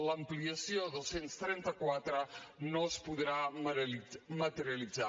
l’ampliació a dos cents i trenta quatre no es podrà materialitzar